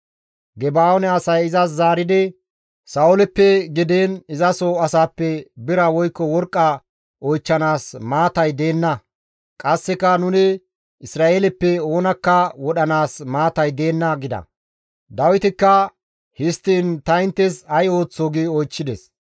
Geba7oone asay izas zaaridi, «Sa7ooleppe gidiin izaso asaappe bira woykko worqqa oychchanaas maatay deenna; qasseka nuni Isra7eeleppe oonakka wodhanaas maatay deenna» gida. Dawitikka, «Histtiin ta inttes ay ooththoo?» gi oychchides.